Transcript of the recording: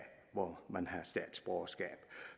hvor man har statsborgerskab